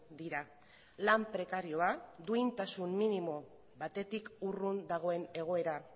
dira lan prekarioa duintasun minimo batetik urrun dagoen egoera